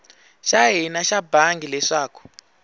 xa hina xa bangi leswaku